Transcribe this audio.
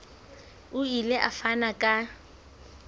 o ile a fana ka